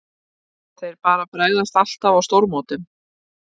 Þeir bara bregðast alltaf á stórmótum.